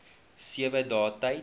sewe dae tyd